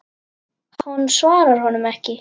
Hún svarar honum ekki.